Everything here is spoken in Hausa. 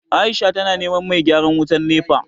Aisha tana neman mai gyaran wutan NEPA